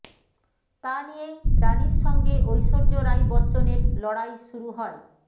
তা নিয়েই রানির সঙ্গে ঐশ্বর্য রাই বচ্চনের লড়াই শুরু হয়